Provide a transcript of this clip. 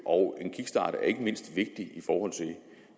og det